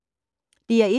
DR1